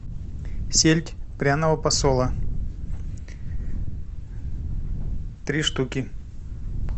сельдь пряного посола три штуки